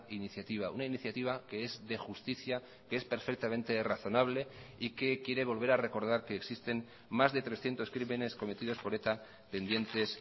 iniciativa una iniciativa que es de justicia que es perfectamente razonable y que quiere volver a recordar que existen más de trescientos crímenes cometidos por eta pendientes